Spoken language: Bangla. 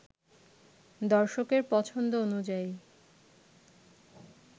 দর্শকের পছন্দ অনুযায়ী